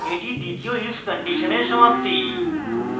এটি দ্বিতীয় if condition সমাপ্তি